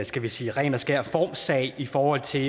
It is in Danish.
skal vi sige ren og skær formsag i forhold til